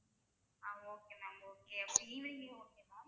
ஆஹ் okay ma'am okay அப்ப evening okay தான்